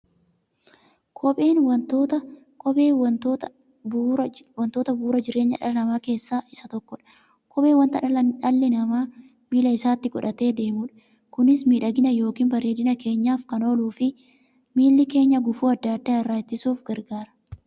Kopheen wantoota bu'uura jireenya dhala namaa keessaa isa tokkodha. Kopheen wanta dhalli namaa miilla isaatti godhatee deemudha. Kunis miidhagani yookiin bareedina keenyaf kan ooluufi miilla keenya gufuu adda addaa irraa ittisuuf gargaara.